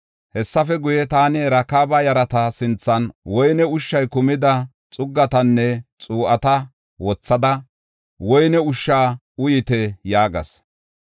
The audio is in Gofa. Hessafe guye, taani Rakaaba yarata sinthan woyne ushshay kumida xuggatanne xuu7ata wothada, “Woyne ushsha uyite” yaagas.